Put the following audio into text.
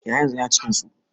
Eh haryanzun Yana cikin su.